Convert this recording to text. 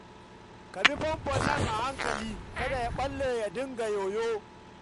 Ka bi famfon nan a hankali kada ya ɓalle ya dinga yoyo